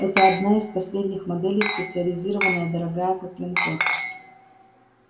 это одна из последних моделей специализированная дорогая как линкор